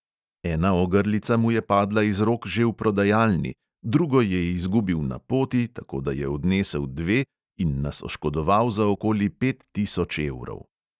Ena ogrlica mu je padla iz rok že v prodajalni, drugo je izgubil na poti, tako da je odnesel dve in nas oškodoval za okoli pet tisoč evrov.